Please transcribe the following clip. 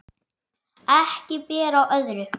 Ekki ber á öðru